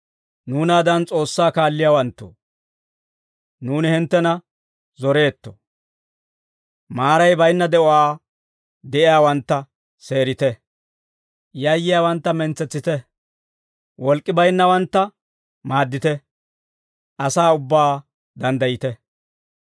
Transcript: Nuunaadan S'oossaa kaalliyaawanttoo, nuuni hinttena zoreetto; maaray bayinna de'uwaa de'iyaawantta seerite. Yayyiyaawantta mentsetsite. Wolk'k'i baynnawantta maaddite. Asaa ubbaa danddayite.